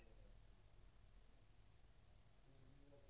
.